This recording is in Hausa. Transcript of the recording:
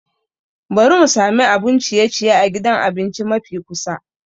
Bari mu sami abun ciye-ciye a gidan abinci mafi kusa.